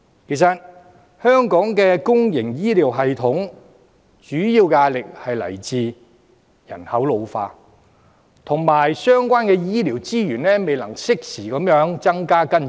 其實，香港的公營醫療系統主要的壓力來自人口老化，以及相關醫療資源未能適時地增加和跟進。